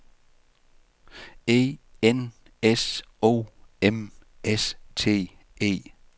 E N S O M S T E